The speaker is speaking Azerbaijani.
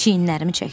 Çiyinlərimi çəkdim.